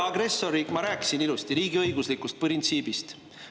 Ma rääkisin ilusti riigiõiguslikust printsiibist.